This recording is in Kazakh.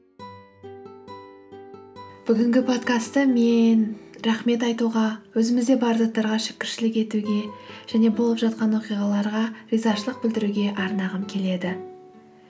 бүгінгі подкастты мен рахмет айтуға өзімізде бар заттарға шүкіршілік етуге және болып жатқан оқиғаларға ризашылық білдіруге арнағым келеді